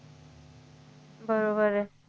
बरोबर आहे